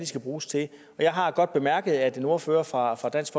skal bruges til og jeg har godt bemærket at en ordfører fra fra dansk